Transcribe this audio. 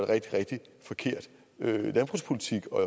rigtig rigtig forkert landbrugspolitik og